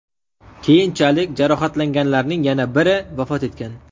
Keyinchalik jarohatlanganlarning yana biri vafot etgan .